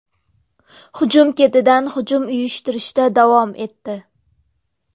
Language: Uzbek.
Hujum ketidan hujum uyushtirishda davom etdi.